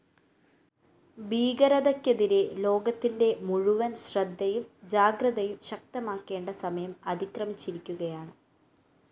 ഭീകരതയ്‌ക്കെതിരെ ലോകത്തിന്റെ മുഴുവന്‍ ശ്രദ്ധയും ജാഗ്രതയും ശക്തമാക്കേണ്ട സമയം അതിക്രമിച്ചിരിക്കുകയാണ്